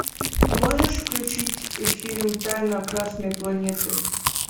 можешь включить фильм тайна красной планеты